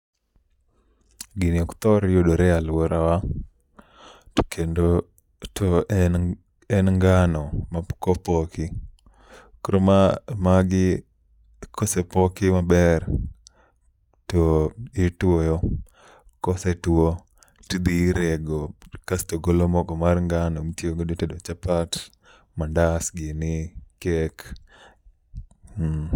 Gini ok thor yudore e alworawa, to kendo to en ng en ngano ma pok opoki. Koro ma magi kosepoki maber to ituoyo, kosetuo tidhi irego kasto golo mogo mar ngano. Mitiyo godo e tedo chapat, mandas gini, kek, hmm.